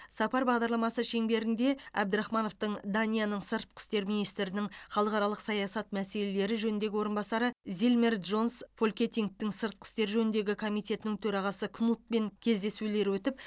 сапар бағдарламасы шеңберінде әбдірахмановтың данияның сыртқы істер министрінің халықаралық саясат мәселелері жөніндегі орынбасары зильмер джонс фолькетингтің сыртқы істер жөніндегі комитетінің төрағасы кнутпен кездесулері өтіп